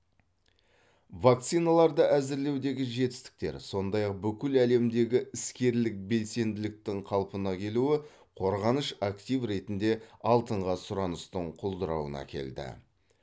вакциналарды әзірлеудегі жетістіктер сондай ақ бүкіл әлемдегі іскерлік белсенділіктің қалпына келуі қорғаныш актив ретінде алтынға сұраныстың құлдырауына әкелді